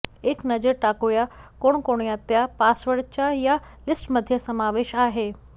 एक नजर टाकूया कोणकोणत्या पासवर्ड्सचा या लिस्टमध्ये समावेश आहे